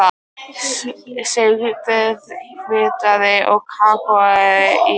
Sigtið hveitið og kakóið í skál.